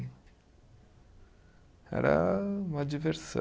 Era uma diversão.